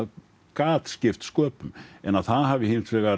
gat skipt sköpum en að það hafi hins vegar